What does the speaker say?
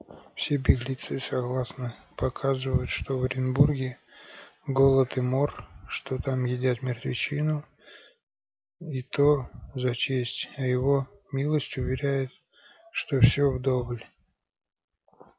все беглецы согласно показывают что в оренбурге голод и мор что там едят мертвечину и то за честь а его милость уверяет что все вдоволь